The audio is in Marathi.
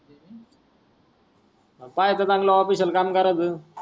पाहायच चांगल official काम करायच.